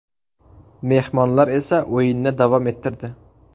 Mehmonlar esa o‘yinni davom ettirdi.